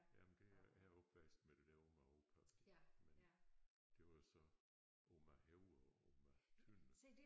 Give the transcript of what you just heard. Jamen det jeg er opvokset med det der Oma og Opa men det var jo så Oma Højer Oma Tønder